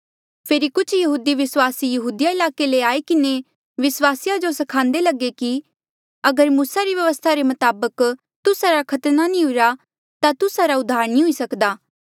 फेरी कुछ यहूदी विस्वासी यहूदिया ईलाके ले आई किन्हें विस्वासिया जो सिखांदे लगे कि अगर मूसा री व्यवस्था रे मताबक तुस्सा रा खतना नी हुईरा ता तुस्सा रा उद्धार नी हुई सक्दा